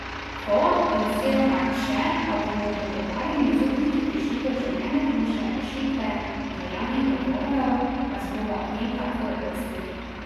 Ko, oziroma če, pa bomo v dogovarjanju z upniki prišli do željene končne rešitve in veljavnih dogovorov, vas bomo o tem takoj obvestili.